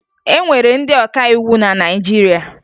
E nwere ndị ọkàiwu na Naịjirịa